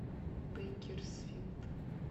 бейкерсфилд